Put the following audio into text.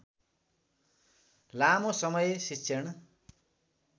लामो समय शिक्षण